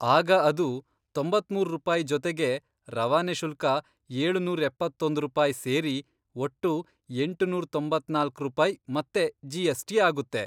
ಆಗ ಅದು ತೊಂಬತ್ಮೂರ್ ರೂಪಾಯಿ ಜೊತೆಗೆ ರವಾನೆ ಶುಲ್ಕ ಏಳು ನೂರ್ ಎಪ್ಪತ್ತೊಂದ್ ರೂಪಾಯಿ ಸೇರಿ ಒಟ್ಟು ಎಂಟುನೂರ್ ತೊಂಬತ್ನಾಲ್ಕ್ ರೂಪಾಯಿ ಮತ್ತೆ ಜಿ ಎಸ್ಟಿ ಆಗುತ್ತೆ.